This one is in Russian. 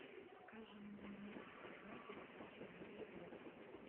покажи мне на тв передачу мьюзик бокс